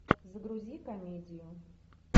загрузи комедию